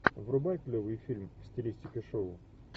врубай клевый фильм в стилистике шоу